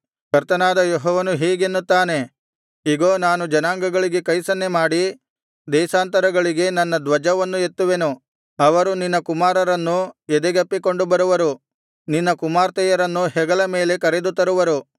ಕರ್ತನಾದ ಯೆಹೋವನು ಹೀಗೆನ್ನುತ್ತಾನೆ ಇಗೋ ನಾನು ಜನಾಂಗಗಳಿಗೆ ಕೈಸನ್ನೆಮಾಡಿ ದೇಶಾಂತರಗಳಿಗೆ ನನ್ನ ಧ್ವಜವನ್ನು ಎತ್ತುವೆನು ಅವರು ನಿನ್ನ ಕುಮಾರರನ್ನು ಎದೆಗಪ್ಪಿಕೊಂಡು ಬರುವರು ನಿನ್ನ ಕುಮಾರ್ತೆಯರನ್ನು ಹೆಗಲ ಮೇಲೆ ಕರೆದುತರುವರು